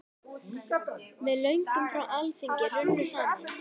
Með lögum frá Alþingi runnu saman